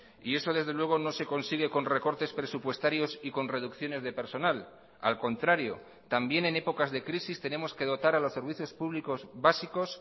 y eso desde luego no se consigue con recortes presupuestarios y con reducciones de personal al contrario también en épocas de crisis tenemos que dotar a los servicios públicos básicos